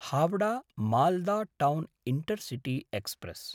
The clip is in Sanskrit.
Howrah Malda town intercity express